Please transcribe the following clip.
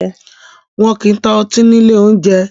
Wọn kì ń ta ọtí ni ilé oúnjẹ